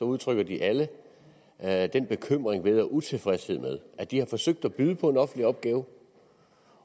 udtrykker de alle alle den bekymring ved og utilfredshed med at de har forsøgt at byde på en offentlig opgave